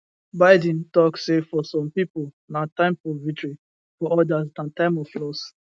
biden tok say for some pipo na time for victory for odas na time of loss